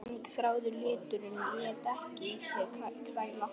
Langþráður liturinn lét ekki á sér kræla.